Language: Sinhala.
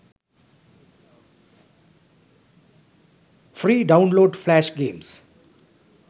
free download flash games